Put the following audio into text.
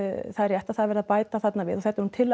það er rétt það er verið að bæta þarna við og þetta er nú tillaga